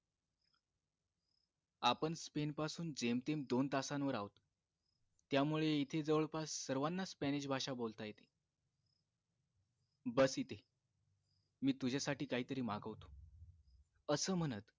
आपण स्पेन पासून जेमतेम दोन तासांवर आहोत त्यामुळे इथे जवळपास सर्वानाच स्पॅनिश बोलता येते बस इथे मी तुझ्यासाठी काहीतरी मागवतो असे म्हणत